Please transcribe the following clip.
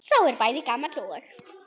Sá er bæði gamall og.